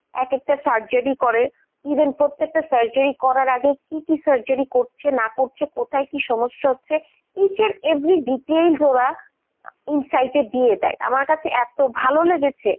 এক একেকটা surjery করে even প্রত্যেকটা surjery করার আগে কি কি surjery করেছে না করছে কোথায় কি সমস্যা হচ্ছে each and every details ওরা insight এ দিয়ে দেয় আমার কাছে এত ভালো লেগেছে।